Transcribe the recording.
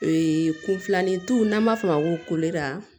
Ee kunfilanintu n'an b'a fɔ o ma ko